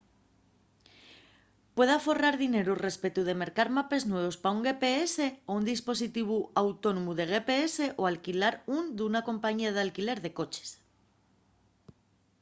puede aforrar dineru respetu de mercar mapes nuevos pa un gps o un dispositivu autónomu de gps o alquilar ún d’una compañía d’alquiler de coches